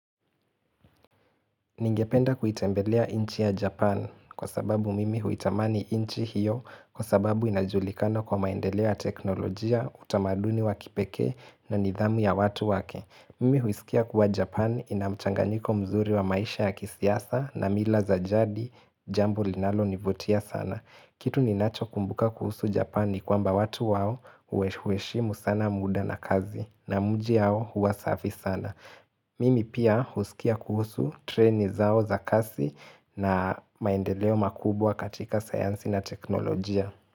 Ningependa kuitembelea nchi ya Japan kwa sababu mimi huitamani nchi hiyo kwa sababu inajulikana kwa maendeleo ya teknolojia, utamaduni wa kipekee na nidhamu ya watu wake. Mimi huisikia kuwa Japan ina mchanganyiko mzuri wa maisha ya kisiasa na mila za jadi, jambo linalonivutia sana. Kitu ninachokumbuka kuhusu Japan ni kwamba watu wao huheshimu sana muda na kazi na miji yao huwa safi sana. Mimi pia huskia kuhusu treni zao za kasi na maendeleo makubwa katika sayansi na teknolojia.